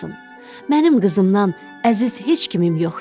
Mənim qızımdan əziz heç kimim yoxdur.